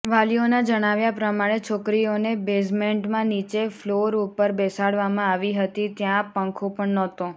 વાલીઓના જણાવ્યા પ્રમાણે છોકરીઓને બેઝમેન્ટમાં નીચે ફ્લોર ઉપર બેસાડવામાં આવી હતી ત્યાં પંખો પણ નહોતો